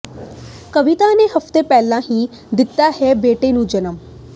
ਕਵਿਤਾ ਨੇ ਹਫ਼ਤੇ ਪਹਿਲਾਂ ਹੀ ਦਿੱਤਾ ਹੈ ਬੇਟੇ ਨੂੰ ਜਨਮ